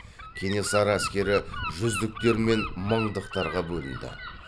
кенесары әскері жүздіктер мен мыңдықтарға бөлінді